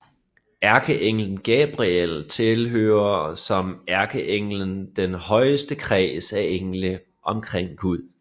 Ærkeenglen Gabriel tilhører som ærkeengel den højeste kreds af engle omkring Gud